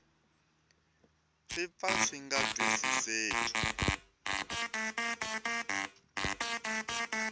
swi pfa swi nga twisiseki